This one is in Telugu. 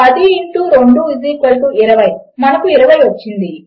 10 ఇంటు 2 20 మనకు 20 వచ్చింది